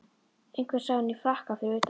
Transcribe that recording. Einhver sá hann í frakka fyrir utan